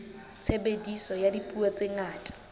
tshebediso ya dipuo tse ngata